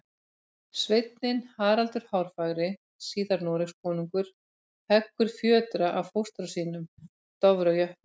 Sveinninn Haraldur hárfagri, síðar Noregskonungur, heggur fjötra af fóstra sínum, Dofra jötni.